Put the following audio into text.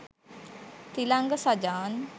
Thilanga Sajan!